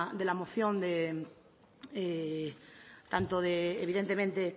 de la de la moción tanto de evidentemente